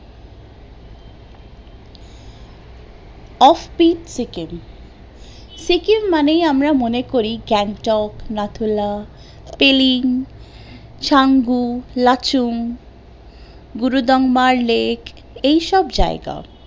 offbeat Sikkim, Sikkim মানেই আমরা মনে করি গ্যাংটক নাথুলা পেলিং চাঙ্গু লাচুং গুরুদংমার লেক এইসব জায়গা